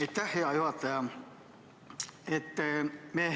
Aitäh, hea juhataja!